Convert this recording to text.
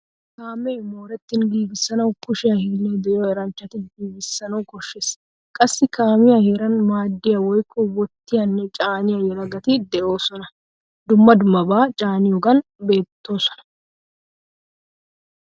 Kaamee moorettin giigisanawu kushshiya hillay de'iyo eranchchati giigisanawu koshshees. Qassi kaamiyaa heeran maadiya woykko wottiyanne caaniyaa yelagati deosona. Dumma dummaba caaniyogan oottoosona.